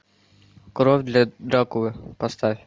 кровь для дракулы поставь